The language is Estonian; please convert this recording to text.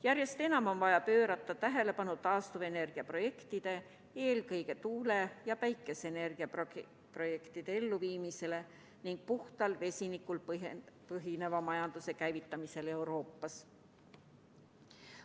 Järjest enam on vaja pöörata tähelepanu taastuvenergiaprojektide, eelkõige tuule- ja päikeseenergiaprojektide elluviimisele ning puhtal vesinikul põhineva majanduse käivitamisele Euroopas.